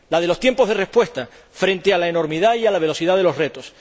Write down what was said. la de los tiempos de respuesta frente a la enormidad y a la velocidad de los retos.